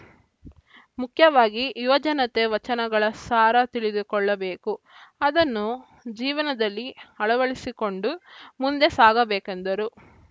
ಮುಖ್ಯವಾಗಿ ಯುವಜನತೆ ವಚನಗಳ ಸಾರ ತಿಳಿದುಕೊಳ್ಳಬೇಕು ಅದನ್ನು ಜೀವನದಲ್ಲಿ ಅಳವಡಿಸಿಕೊಂಡು ಮುಂದೆ ಸಾಗಬೇಕೆಂದರು